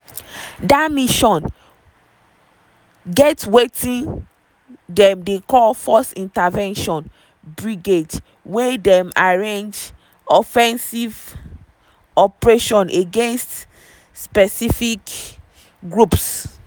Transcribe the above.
dia mission get wetin dem dey call force intervention brigade wey dey arrange offensive operations against specific groups.